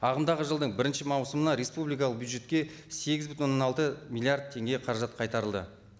ағымдағы жылдың бірінші маусымына республикалық бюджетке сегіз бүтін оннан алты миллиард теңге қаражат қайтарылды